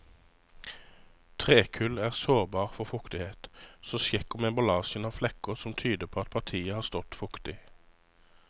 Trekull er sårbar for fuktighet, så sjekk om emballasjen har flekker som tyder på at partiet har stått fuktig.